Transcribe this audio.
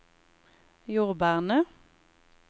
jordbærene